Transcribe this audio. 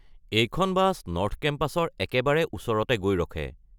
এইখন bus north কেম্পাছৰ একেবাৰে ওচৰতে গৈ ৰখে।